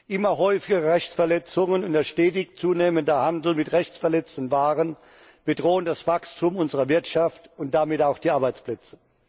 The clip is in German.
Immer häufigere Rechtsverletzungen und der stetig zunehmende Handel mit rechtsverletzenden Waren bedrohen das Wachstum unserer Wirtschaft und damit auch die Arbeitsplätze.